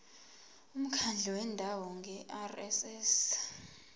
umkhandlu wendawo ngerss